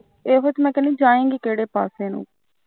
ਇਹੀ ਤਾਂ ਮੈਂ ਕਹਿੰਦੀ ਜਾਏਗੀ ਕਿਹੜੇ ਪਾਸੇ ਨੂੰ